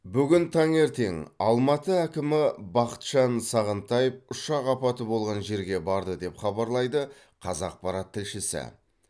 бүгін таңертең алматы әкімі бақытжан сағынтаев ұшақ апаты болған жерге барды деп хабарлайды қазақпарат тілшісі